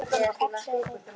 Hún kallaði þá gullin sín.